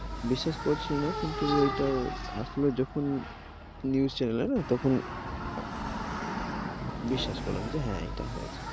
বিশ্বাস করছিলাম না, কিন্তু এটা আসলো যখন news channel এ তখন আঃ, বিশ্বাস করলাম হ্যাঁ এটা হয়েছে।